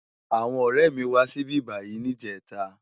Awòn òrè mi wá sibibáyi nijètá